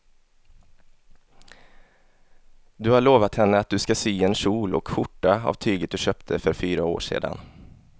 Du har lovat henne att du ska sy en kjol och skjorta av tyget du köpte för fyra år sedan.